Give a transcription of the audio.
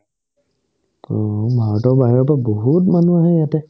উম্, ভাৰতৰ বাহিৰৰ পৰা বহুত মানুহ আহে ইয়াতে